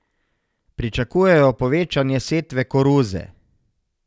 Pričakujejo povečanje setve koruze.